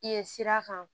Yen sira kan